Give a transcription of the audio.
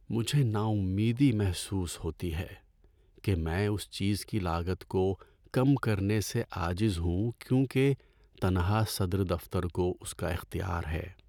مجھے ناامیدی محسوس ہوتی ہے کہ میں اس چیز کی لاگت کو کم کرنے سے عاجز ہوں کیونکہ تنہا صدر دفتر کو اس کا اختیار ہے۔